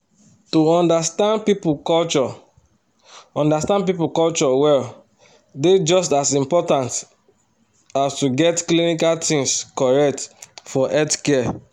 to understand people culture understand people culture well dey just as important as to get clinical things correct for healthcare.